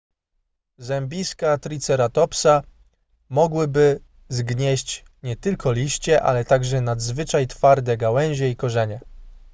zębiska triceratopsa mogłyby zgnieść nie tylko liście ale także nadzwyczaj twarde gałęzie i korzenie